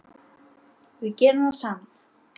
Við gerum það saman.